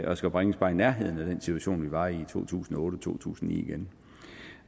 at skulle bringes bare i nærheden af den situation vi var i i to tusind og otte og to tusind